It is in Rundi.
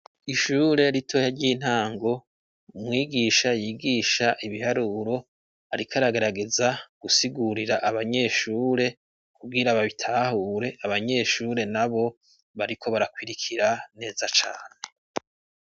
Ishure ritoya ry'intango umwigisha yigisha ibiharuro arikaragarageza gusigurira abanyeshure kugira babitahure abanyeshure na bo bariko barakwirikira neza cane.